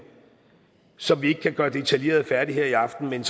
som vi ikke kan gøre detaljeret færdig her i aften men